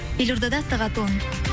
елордада сағат он